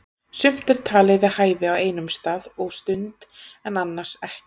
Sumt er talið við hæfi á einum stað og stund en annars ekki.